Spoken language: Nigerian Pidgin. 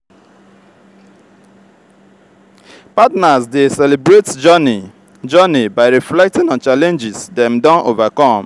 partners dey celebrate journey journey by reflecting on challenges dem don overcome.